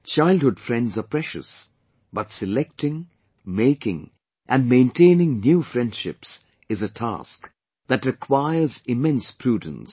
Childhood friends are precious, but selecting, making & maintaining new friendships is a task that requires immense prudence